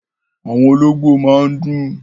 Àwọn olóńgbó máa ń dún.